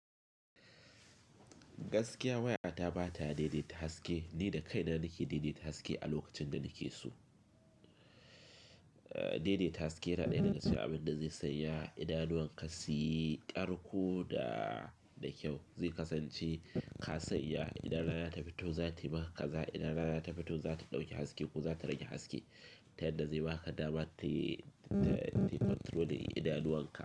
Gaskiya waya ta ba ta daidaita haske, ni da kaina nake daidaita haske a lokacin da nake so. Daidaita haske na ɗaya daga cikin abin da zai sanya idanuwan ka suyi karko da da kyau. Zai kasance ka sanya idan rana ta fito za ta yi maka kaza, idan rana ta fito za ta ɗauki haske ko za ta rage haske. Ta yadda zai ba ka dama ta, ta, ta controlling idanuwan ka.